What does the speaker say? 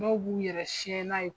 Dɔw b'u yɛrɛ siɲɛ n'a ye.